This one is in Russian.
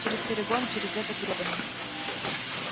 через перегон через этот гребаный